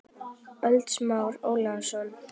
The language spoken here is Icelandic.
ÖLD Smári Ólason